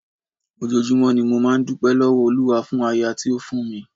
Ojoojúmọ́ ni mo máa ń dúpẹ́ lọ́wọ́ Olúwa fún aya tí ó fún mi.